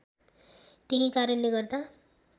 त्यही कारणले गर्दा